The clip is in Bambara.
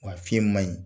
Wa fiɲɛ ma ɲi